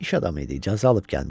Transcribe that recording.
İş adamı idi, icazə alıb gəlmişdi.